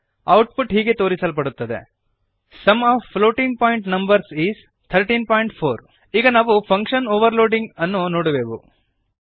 output ಹೀಗೆ ತೋರಿಸಲ್ಪಡುತ್ತದೆ sum of floating point numbers is 134 ಈಗ ನಾವು ಫಂಕ್ಶನ್ ಓವರ್ರೈಡಿಂಗ್ ಅನ್ನು ನೋಡುವೆವು